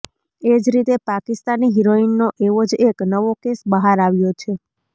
એ જ રીતે પાકિસ્તાની હિરોઈનનો એવો જ એક નવો કેસ બહાર આવ્યો છે